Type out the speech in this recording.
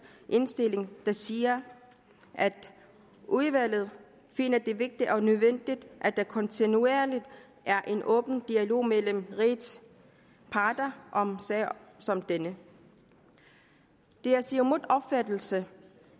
indstilling der siger at udvalget finder det vigtigt og nødvendigt at der kontinuerligt er en åben dialog mellem rigets parter om sager som denne det er siumuts opfattelse